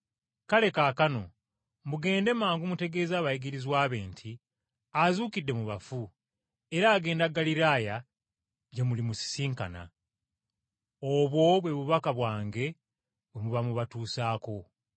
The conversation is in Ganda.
Kale kaakano, mugende mangu mutegeeze abayigirizwa be nti, Azuukidde mu bafu, era abakulembeddemu okugenda e Ggaliraaya gye mulimusisinkana. Obwo bwe bubaka bwange bwe muba mubatuusaako.”